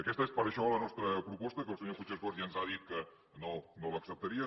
aquesta és per això la nostra proposta que el senyor puigcercós ja ens ha dit que no l’acceptaria